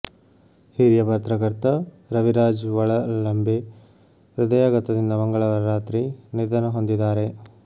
ಹಿರಿಯ ಪತ್ರಕರ್ತ ರವಿರಾಜ್ ವಳಲಂಬೆ ಹೃದಯಘಾತದಿಂದ ಮಂಗಳವಾರ ರಾತ್ರಿ ನಿಧನ ಹೊಂದಿದ್ದಾರೆ